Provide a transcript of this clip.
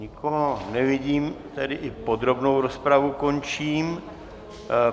Nikoho nevidím, tedy i podrobnou rozpravu končím.